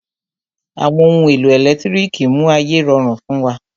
Àwọn ohun èlò ẹ̀lẹ́tírìkì mú ayé rọrùn fún wa.